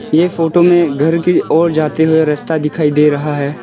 ये फोटो में घर की ओर जाते रस्ता दिखाई दे रहा है।